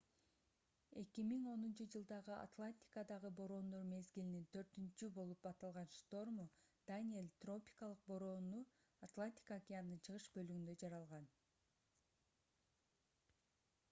2010-жылдагы атлантикадагы бороондор мезгилинин төртүнчү болуп аталган шторму даниэль тропикалык бороону атлантика океанынын чыгыш бөлүгүндө жаралган